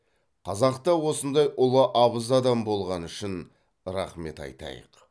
қазақта осындай ұлы абыз адам болғаны үшін рахмет айтайық